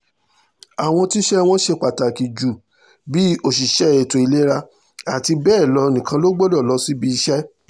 àwọn tíṣẹ́ wọn ṣe pàtàkì ju bíi òṣìṣẹ́ ètò ìlera àti bẹ́ẹ̀ lọ nìkan ló gbọ́dọ̀ lọ síbi iṣẹ́